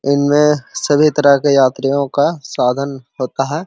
इनमे सभी तरह के यात्रियों का स्वागण है।